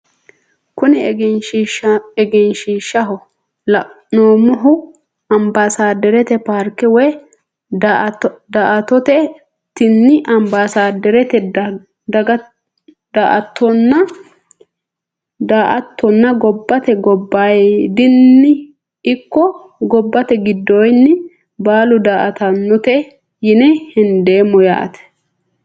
Kuni egenshiishaho la`neemohu anbasaderete paarke woyi daa`atooti tini anbasadarete daa`atono gobate gobayidinino ikko gobate gidoyidini baalu daa`atanote yine hendemo yaate.